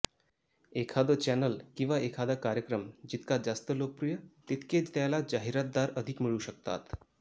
एखादं चॅनल किंवा एखादा कार्यक्रम जितका जास्त लोकप्रिय तितके त्याला जाहिरातदार अधिक मिळू शकतात